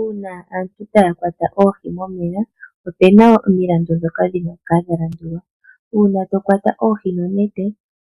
Uuna aantu taya kwata oohi momeya, opu na omilandu ndhoka dhi na okukala dha landulwa. Uuna to kwata oohi nonete,